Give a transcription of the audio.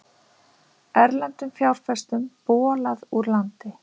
Erlendum fjárfestum bolað úr landi